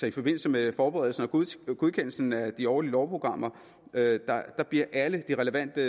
i forbindelse med forberedelsen og godkendelsen af det årlige lovprogram bliver alle de relevante